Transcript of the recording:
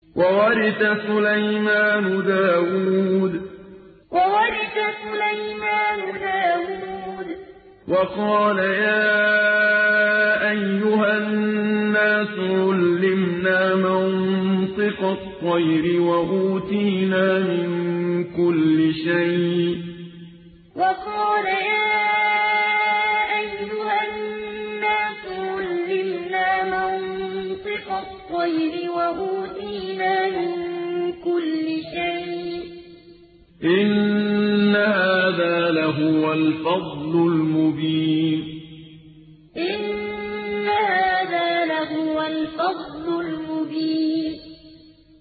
وَوَرِثَ سُلَيْمَانُ دَاوُودَ ۖ وَقَالَ يَا أَيُّهَا النَّاسُ عُلِّمْنَا مَنطِقَ الطَّيْرِ وَأُوتِينَا مِن كُلِّ شَيْءٍ ۖ إِنَّ هَٰذَا لَهُوَ الْفَضْلُ الْمُبِينُ وَوَرِثَ سُلَيْمَانُ دَاوُودَ ۖ وَقَالَ يَا أَيُّهَا النَّاسُ عُلِّمْنَا مَنطِقَ الطَّيْرِ وَأُوتِينَا مِن كُلِّ شَيْءٍ ۖ إِنَّ هَٰذَا لَهُوَ الْفَضْلُ الْمُبِينُ